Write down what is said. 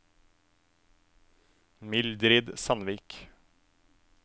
Mildrid Sandvik